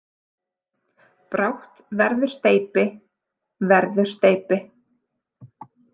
Brátt verður steypi, verður steypi.